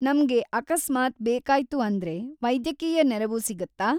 ನಮ್ಗೆ ಅಕಸ್ಮಾತ್ ಬೇಕಾ‌ಯ್ತು ಅಂದ್ರೆ ವೈದ್ಯಕೀಯ ನೆರವು ಸಿಗುತ್ತಾ?